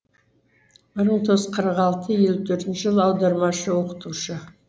бір мың тоғыз жүз қырық алты елу төртінші жылы аудармашы оқытушы